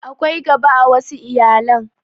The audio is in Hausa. Akwai gaba a wassu iyalan